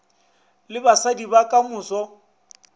le basadi ba ka moso